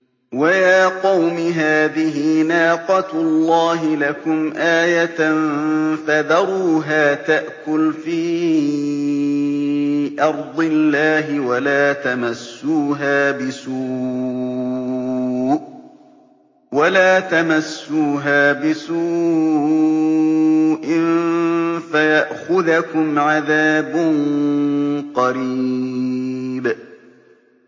وَيَا قَوْمِ هَٰذِهِ نَاقَةُ اللَّهِ لَكُمْ آيَةً فَذَرُوهَا تَأْكُلْ فِي أَرْضِ اللَّهِ وَلَا تَمَسُّوهَا بِسُوءٍ فَيَأْخُذَكُمْ عَذَابٌ قَرِيبٌ